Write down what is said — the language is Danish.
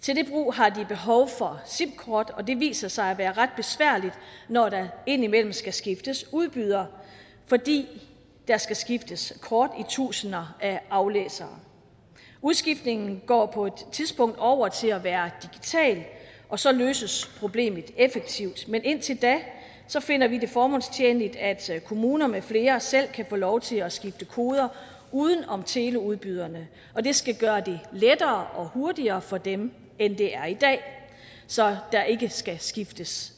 til det brug har de behov for simkort og det viser sig at være ret besværligt når der indimellem skal skiftes udbyder fordi der skal skiftes kort i tusinder af aflæsere udskiftningen går på et tidspunkt over til at være digital og så løses problemet effektivt men indtil da finder vi det formålstjenligt at kommuner med flere selv kan få lov til at skifte koder uden om teleudbyderne og det skal gøre det lettere og hurtigere for dem end det er i dag så der ikke skal skiftes